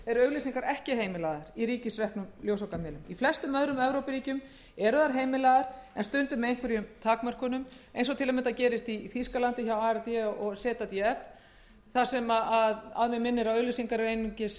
eru auglýsingar ekki heimilaðar í ríkisreknum ljósvakamiðlum í flestum öðrum evrópuríkjum eru þær heimilaðar en stundum með einhverjum takmörkunum eins og gerist til að mynda í þýskalandi hjá ard og zdf þar sem auglýsingar eru að mig minnir aðeins